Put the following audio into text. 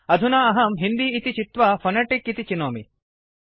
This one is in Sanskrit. अधुना अहं हिन्दी इति चित्वा फोनेटिक इति चिनोमि